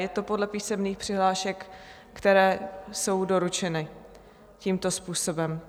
Je to podle písemných přihlášek, které jsou doručeny tímto způsobem.